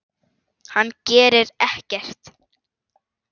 Hann gerir ekkert.